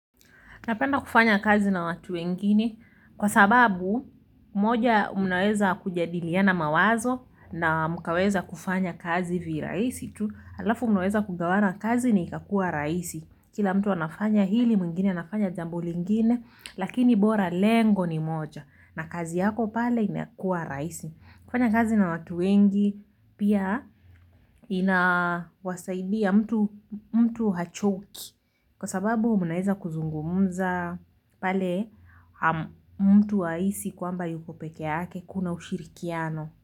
Napenda kufanya kazi na watu wengine kwa sababu moja mnaweza kujadiliana mawazo na mkaweza kufanya kazi viraisi tu halafu mnaweza kugawana kazi na ikakuwa raisi kila mtu anafanya hili mwingine anafanya jambo lingine lakini bora lengo ni moja na kazi yako pale inakuwa raisi. Kufanya kazi na watu wengi pia inawasaidia mtu hachoki kwa sababu munaeza kuzungumuza pale mtu haisi kwamba yuko peke yake kuna ushirikiano.